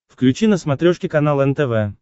включи на смотрешке канал нтв